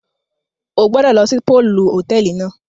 O gbọdọ lọ si pọọlù hotẹẹli náà!